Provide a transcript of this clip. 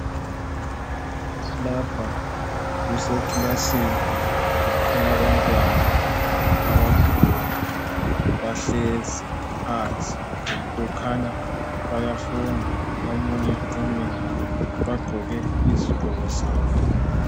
lapha kusekilasini elabantwana abakhulu bahlezi phansi kukhanya bayafunda omunye umile bagqoke izigqoko zabo